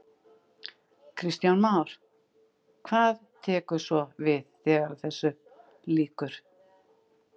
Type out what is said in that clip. Kristján Már: Hvað tekur svo við þegar þessu lýkur?